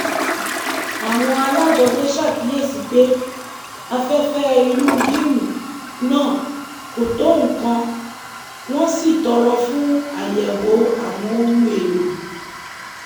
àwọn alájọgbe ṣàkíyèsí pé afẹ́fẹ́ inú gíìmù náà kò tó nǹkan wọn sì tọrọ fún àyẹ̀wò àwọn ohun èlò